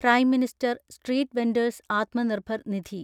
prime minister street vendors Atmanirbhar Nidhi